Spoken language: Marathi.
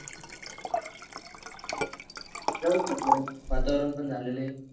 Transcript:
जाऊस म्हटल वातावरण पण झालेल आहे